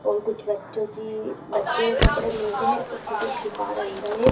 और कुछ बच्चों की बच्चों के कपड़े मिलते है उसकी कुछ दुकान अंदर हैं।